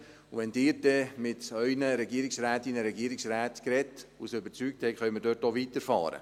Und wenn Sie dann mit Ihren Regierungsrätinnen und Regierungsräten gesprochen und sie überzeugt haben, können wir dort auch weiterfahren.